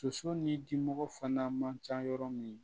Soso ni dimɔgɔ fana man ca yɔrɔ min